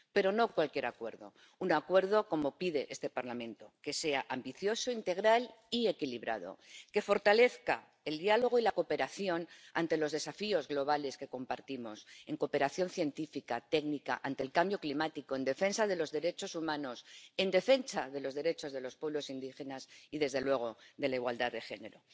Pero no cualquier acuerdo, un acuerdo como pide este Parlamento, que sea ambicioso, integral y equilibrado, que fortalezca el diálogo y la cooperación ante los desafíos globales que compartimos, en cooperación científica, técnica, ante el cambio climático, en defensa de los derechos humanos, en defensa de los derechos de los pueblos indígenas y, desde luego, de la igualdad de género.